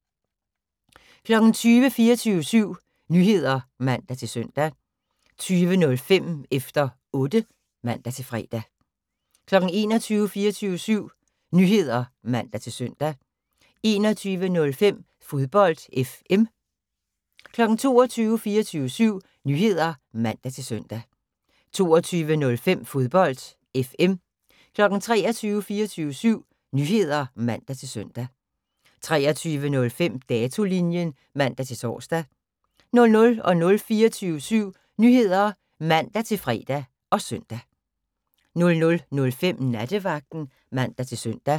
20:00: 24syv Nyheder (man-søn) 20:05: Efter Otte (man-fre) 21:00: 24syv Nyheder (man-søn) 21:05: Fodbold FM 22:00: 24syv Nyheder (man-søn) 22:05: Fodbold FM 23:00: 24syv Nyheder (man-søn) 23:05: Datolinjen (man-tor) 00:00: 24syv Nyheder (man-fre og søn) 00:05: Nattevagten (man-søn)